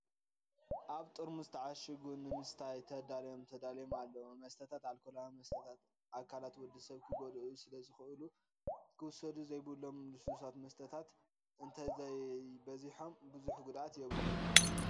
ኣብ ጥርሙዝ ተዓሺጉ ንምስታይ ተዳልዮም ተዳልዮም ኣለው። መስተታት ኣርኮላዊ መስተታት ኣካላት ወዲ ሰብ ክጎድኡ ስለዝክእሉ ክውሰዱዘየብሎም ሉስሉሳት መስተታት እተዘይበዚሖም ብዙሕ ጉድኣት የብሎም።